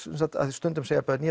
stundum segja börn